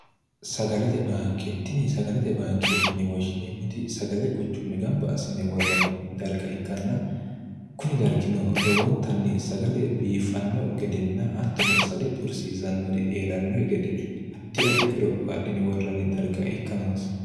sagalete baanke tini sagalete baanke'yine woshshineemmoti sagale quchumme gamba asine worranni darga ikkanna kuni dargino lowontanni sagale biiffanno gedenna attono sagale xursiisannori eerannohi gede addi addi qoropho adhine worranni darga ikka noosi